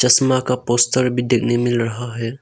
चश्मा का पोस्टर भी देखने मिल रहा है।